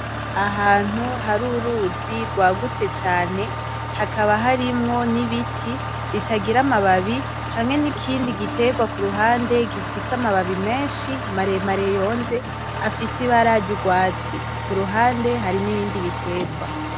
Ahantu haruruz rwagutse cane hakaba harimwo nibiti bitagira amababi hamwe nikindi giterwa kuruhande gifise amababi menshi maremare yonze afise ibara ryurwatsi, kuruhande haribindi biterwa.